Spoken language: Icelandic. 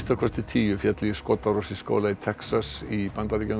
tíu féllu í skotárás í skóla í Texas í Bandaríkjunum